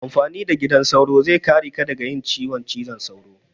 Amfani da gidan sauro zai kare ka daga yin ciwon cizon sauro.